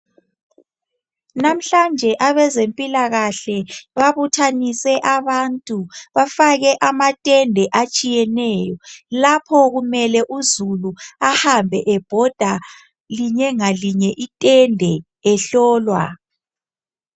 Namuhlanje abezempilakahle babuthanise abantu bafake amatende atshiyeneyo lapho kumele uzulu ahambe ebhoda linye ngalinye itende ehlolwa.